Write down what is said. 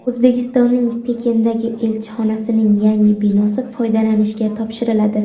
O‘zbekistonning Pekindagi elchixonasining yangi binosi foydalanishga topshiriladi.